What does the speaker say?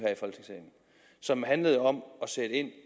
som handlede om